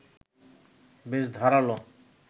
বেশ ধারালো